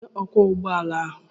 Kedu onye ọkwọ ụgbọ ala?